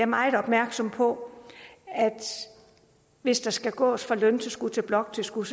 meget opmærksom på at hvis der skal gås fra løntilskud til bloktilskud